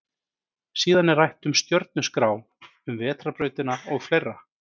Síðan er rætt um stjörnuskrá, um vetrarbrautina og fleira.